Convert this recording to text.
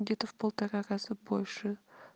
где-то в полтора раза больше